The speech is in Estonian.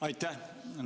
Aitäh!